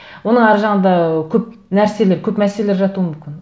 оның әр жағында ы көп нәрселер көп мәселелер жатуы мүмкін